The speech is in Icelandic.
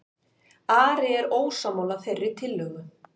Ari er ósammála þeirri tillögu